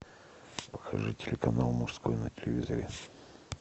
покажи телеканал мужской на телевизоре